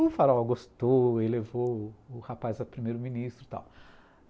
O Faraó gostou, ele levou o o rapaz a primeiro ministro e tal.